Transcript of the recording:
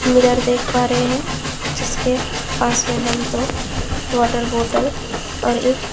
mirror देख पा रहे हैंजिसके पास में हम दो वाटर बोतल और एक--